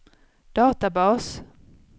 databas